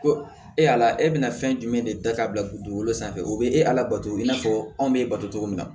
Ko e y'a la e bɛna fɛn jumɛn de da ka bila dugukolo sanfɛ o be e labato i n'a fɔ anw be e bato cogo min na